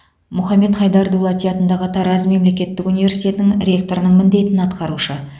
мұхаммед хайдар дулати атындағы тараз мемлекеттік университетінің ректорының міндетін атқарушы